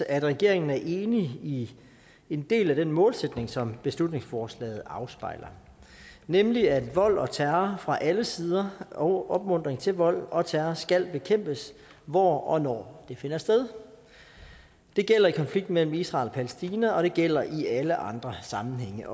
at regeringen er enig i en del af den målsætning som beslutningsforslaget afspejler nemlig at vold og terror fra alle sider og opmuntring til vold og terror skal bekæmpes hvor og når det finder sted det gælder i konflikten mellem israel og palæstina og det gælder også i alle andre sammenhænge